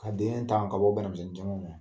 Ka denin ta ka bɔ banamisɛnin caman ma.